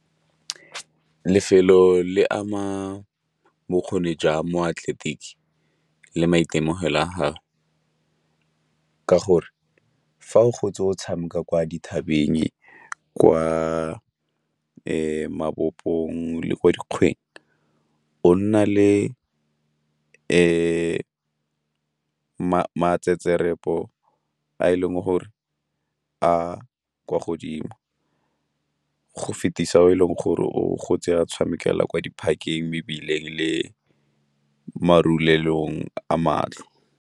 Lefelo le ama bokgoni jwa moatleletiki le maitemogelo a gago ka gore fa o gotse o tshameka kwa dithabeng kwa mabopong le kwa dikgweng o nna le a e leng gore a kwa godimo, go fetisa o e leng gore o gotse a tshamekela kwa di-park-eng, mebileng le marulelong a matlo.